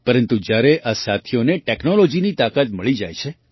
પરંતુ જ્યારે આ સાથીઓને ટૅક્નૉલૉજીની તાકાત મળી જાય છે